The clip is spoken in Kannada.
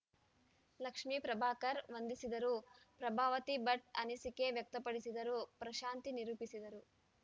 ಲಕ್ಷ್ಮೇ ಪ್ರಭಾಕರ್‌ ವಂದಿಸಿದರು ಪ್ರಭಾವತಿ ಭಟ್‌ ಅನಿಸಿಕೆ ವ್ಯಕ್ತಪಡಿಸಿದರು ಪ್ರಶಾಂತಿ ನಿರೂಪಿಸಿದರು